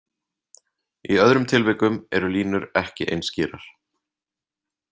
Í öðrum tilvikum eru línur ekki eins skýrar.